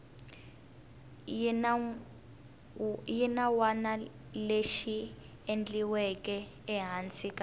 xinawana lexi endliweke ehansi ka